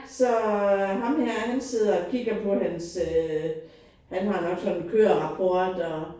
Så ham her han sidder og kigger på hans øh han har nok sådan en kørerapport og